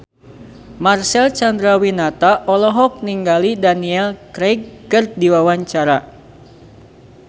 Marcel Chandrawinata olohok ningali Daniel Craig keur diwawancara